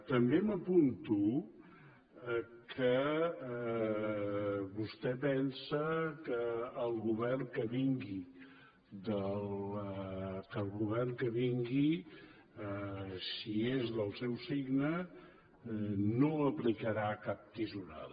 també m’apunto que vostè pensa que el govern que vingui si és del seu signe no aplicarà cap tisorada